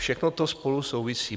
Všechno to spolu souvisí.